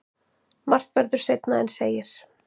Margt verður seinna en segir.